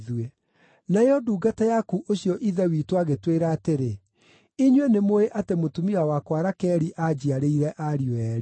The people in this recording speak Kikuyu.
“Nayo ndungata yaku ũcio ithe witũ agĩtwĩra atĩrĩ, ‘Inyuĩ nĩmũũĩ atĩ mũtumia wakwa Rakeli aanjiarĩire ariũ eerĩ.